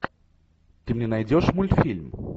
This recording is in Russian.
ты мне найдешь мультфильм